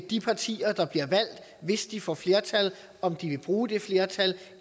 de partier der bliver valgt hvis de får flertal om de vil bruge det flertal